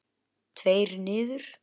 Tveir niður?